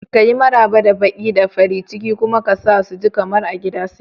Kayi Maraba da baƙi da farin ciki kuma ka sa su ji kamar a gida suke.